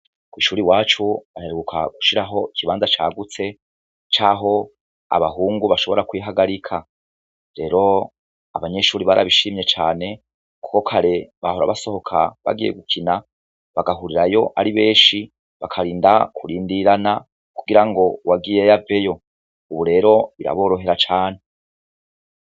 Kw'ishure iwacu baheruka gushiraho ikibanza cagutse c'aho abahungu bashobora kwihagarika. Rero abanyeshure barabishimye cane, kuko kare bahora basohoka bagiye gukina, bagahurirayo ari benshi, bakarinda kurindirana; kugira uwagiyeyo aveyo; ubu rero biraborohera cane.